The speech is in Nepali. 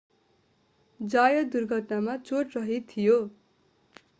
जायत दुर्घटनामा चोटरहित थियो